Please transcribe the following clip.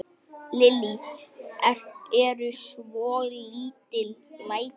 Lillý: Eru svolítil læti?